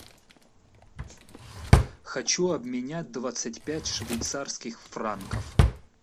хочу обменять двадцать пять швейцарских франков